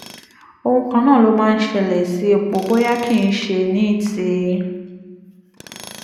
ohun kan náà ló máa ń ṣẹlẹ̀ sí epo bóyá kì í í ṣe ní ti